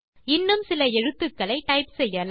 இன்னும் சில எழுத்துக்களை டைப் செய்யலாம்